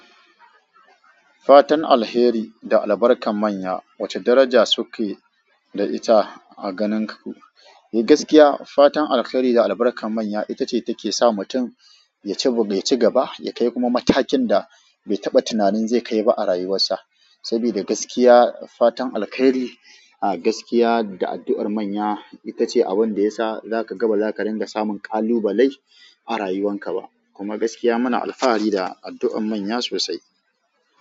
Fatan alheri da albarkar manya wace daraja suke da ita a ganin ku? Gaskiya fatan alkhairi da albarkar manya, ita ce take sa mutum ya ci gaba, ya kai kuma matakin da bai taɓa tunanin zai kai ba a rayuwarsa. Saboda gaskiya fatan alkhairi, a gaskiya da addu'ar manya, ita ce abin da ya sa ba za ka ringa samun kalubalai a rayuwan ka ba. Kuma gaskiya muna alfahari da addu'an manya sosai.